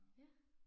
Ja